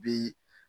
Bi